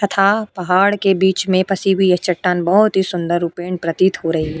तथा पहाड़ के बीच में पसी हुई यह चट्टान बहोत ही सुंदर प्रतीत हो रही --